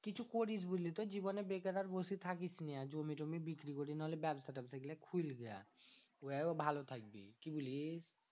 কিছু করিস বুঝলি তো বেকার আর বসে থাকিস নে আর। জমি টমি বিক্রি করে নাহলে ব্যাবসাটা তাহলে খুইল ফেল। ভালো থাকবি কি বলিস?